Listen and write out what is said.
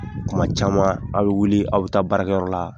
Kuma caman aw bɛ wuli aw bɛ taa baarakɛyɔrɔ la